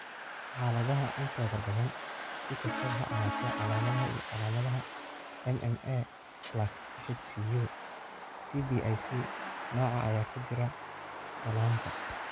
Xaaladaha intooda badan, si kastaba ha ahaatee, calaamadaha iyo calaamadaha MMA+HCU cblC nooca ayaa ku jira dhallaanka.